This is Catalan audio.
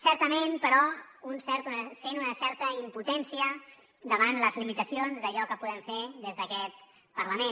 certament però un sent una certa impotència davant les limitacions d’allò que podem fer des d’aquest parlament